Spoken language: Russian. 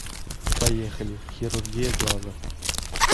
поехали хирургия глаза